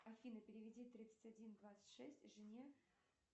афина переведи тридцать один двадцать шесть жене